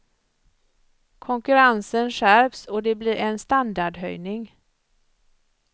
Konkurrensen skärps, och det blir en standardhöjning.